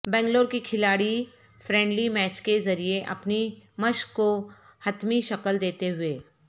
بنگلور کے کھلاڑی friendly match کے ذریعہ اپنی مشق کو حتمی شکل دیتے ہوئے